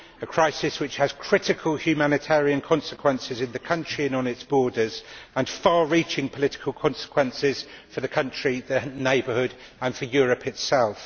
This is a crisis which has critical humanitarian consequences in the country and on its borders, and far reaching political consequences for the country, the Neighbourhood, and for Europe itself.